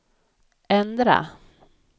ändra